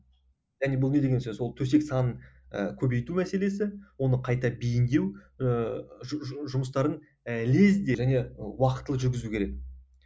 және бұл не деген сөз ол төсек санын ы көбейту мәселесі оны қайта бейімдеу ыыы жұмыстарын ы лезде және уақытылы жүргізу керек